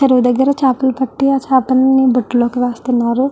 చెరువు దగర చపలని పట్టి వాటిని బుట్టలోకి వేస్తునారు.